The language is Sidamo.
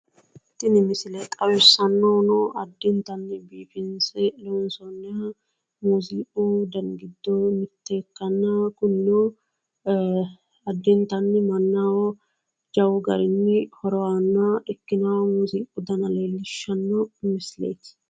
Tini misile xawissannohuno muuziiqu uduunni giddo mitto ikkanna kunino addintanni mannaho horo jawu garinni horo aanno ikkinoha muuziiqu dana leellishshanno misileeti.